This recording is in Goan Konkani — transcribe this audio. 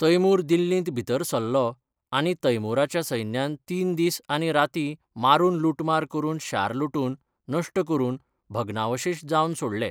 तैमूर दिल्लींत भितर सरलो आनी तैमूराच्या सैन्यान तीन दीस आनी राती मारून लुटमार करून शार लुटून, नश्ट करून, भग्नावशेश जावन सोडलें.